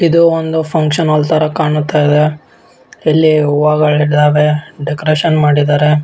ಇದು ಒಂದು function hall ತರ ಕಾಣ್ತಾ ಇದೆ ಇಲ್ಲಿ ಹೂವಗಳಿದ್ದಾವೆ ಡೆಕೋರೇಷನ್ ಮಾಡಿದ್ದಾರೆ.